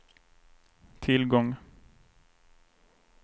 tillgång